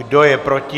Kdo je proti?